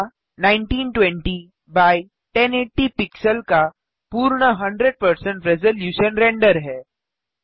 यहाँ 1920 x 1080 pixel का पूर्ण 100 रेज़लूशन रेंडर है